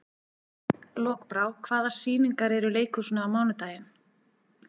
Lokbrá, hvaða sýningar eru í leikhúsinu á mánudaginn?